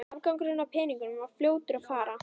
Afgangurinn af peningunum var fljótur að fara.